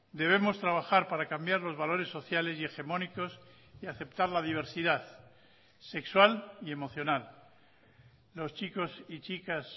debemos trabajar para cambiar los valores sociales y hegemónicos y aceptar la diversidad sexual y emocional los chicos y chicas